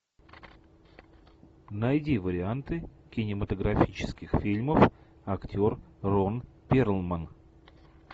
найди варианты кинематографических фильмов актер рон перлман